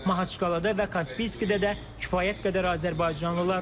Mahaçqalada və Kaspiskidə də kifayət qədər azərbaycanlılar var.